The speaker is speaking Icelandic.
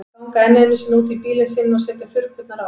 Ganga enn einu sinni út í bílinn sinn og setja þurrkurnar á.